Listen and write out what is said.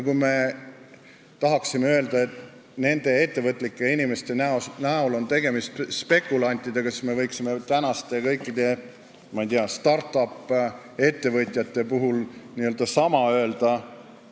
Kui me tahaksime öelda, et nende ettevõtlike inimeste näol on tegemist spekulantidega, siis me võiksime tänaste kõikide, ma ei tea, start-up-ettevõtjate kohta sama öelda.